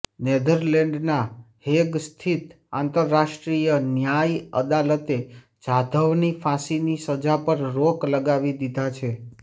નેધરલેન્ડના Hague સ્થિત આંતરરાષ્ટ્રીય ન્યાય અદાલતે જાધવની ફાંસીની સજા પર રોક લગાવી દીધા છે